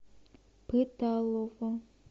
пыталово